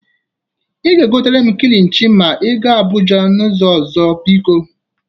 Ị ga-egotere m kilichi ma ị ga Abụja n'izu ọzọ, biko.